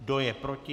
Kdo je proti?